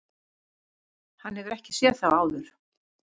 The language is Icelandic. Hann hefur ekki séð þá áður.